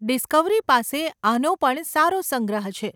Discovery પાસે આનો પણ સારો સંગ્રહ છે.